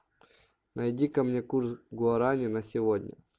найди ка мне курс гуарани на сегодня